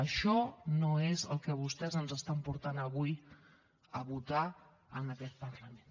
això no és el que vostès ens porten avui a votar en aquest parlament